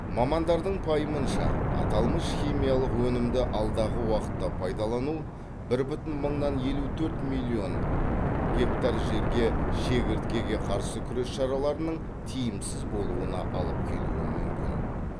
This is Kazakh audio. мамандардың пайымынша аталмыш химиялық өнімді алдағы уақытта пайдалану бір бүтін мыңнан елу төрт миллион гектар жерге шегірткеге қарсы күрес шараларының тиімсіз болуына алып келуі мүмкін